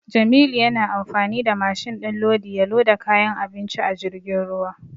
Jamilu yana amfani da mashin din lodi ya loda kayan abinci a jirgin ruwa.